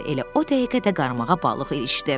Elə o dəqiqə də qarmağa balıq ilişdi.